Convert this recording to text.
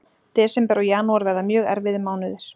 Desember og janúar verða mjög erfiðir mánuðir.